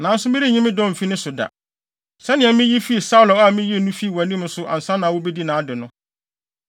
Nanso, merenyi me dɔ mfi ne so da, sɛnea miyi fii Saulo a miyii no fii wʼanim no so ansa na wubedii nʼade no.